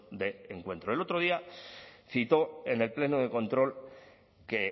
de encuentro el otro día citó en el pleno de control que